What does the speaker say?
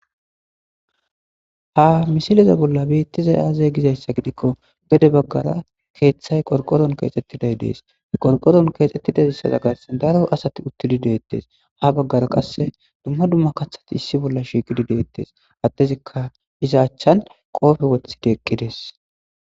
ha misileza bolla beettiza aazee gizayssa gidikko gede baggara keeththay qorqoron keexxettiday dees qorqoron keexxettidaissaza garsan daro asati uttidi deettes ha baggara qasse dumma dumma kaththati issi bolla shiiqidi deettes addezikka iza achchan qoofe wothidi eqqidees